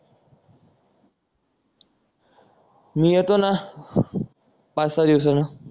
मी येतो ना पाच सहा दिवसान